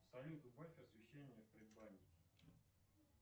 салют убавь освещение в предбаннике